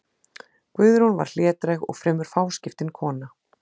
Guðrún var hlédræg og fremur fáskiptin kona.